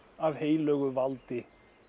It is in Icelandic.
af heilögu valdi